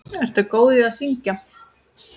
Ertu góð í að syngja?